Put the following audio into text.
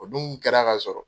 O dun kɛra ka sɔrɔ.